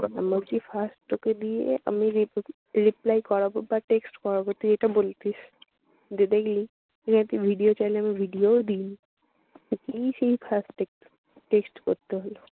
আমি ভাবছি first তোকে দিয়ে আমি rip reply করাবো বা text করাবো তুই এটা বলতিস। যে দেখলি, যে তুই একটা ভিডিয়ো চাইলি আমি ভিডিয়োও দেইনি। তোকেই সেই first step text করতে হলো।